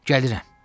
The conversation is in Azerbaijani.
Gəlirəm.